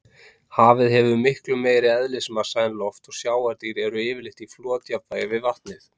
Hafið hefur miklu meiri eðlismassa en loft og sjávardýr eru yfirleitt í flotjafnvægi við vatnið.